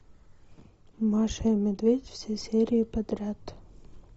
маша и медведь все серии подряд